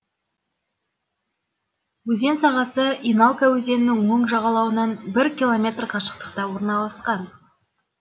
өзен сағасы еналка өзенінің оң жағалауынан бір километр қашықтықта орналасқан